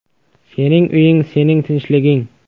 “Sening uying sening tinchliging”.